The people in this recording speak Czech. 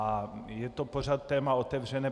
A je to pořád téma otevřené.